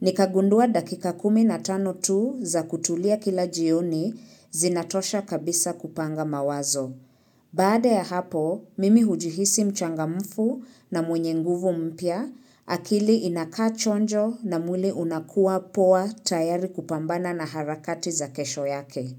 nikagundua dakika kumi na tano tu za kutulia kila jioni zinatosha kabisa kupanga mawazo. Baada ya hapo, mimi hujihisi mchangamfu na mwenye nguvu mpya, akili inakaachonjo na mwili unakuwa poa tayari kupambana na harakati za kesho yake.